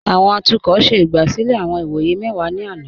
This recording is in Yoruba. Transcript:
Awọn atukọ ṣẹ igbásílẹ̀ awọn ìwọyẹ̀ mẹ́wà ni àná.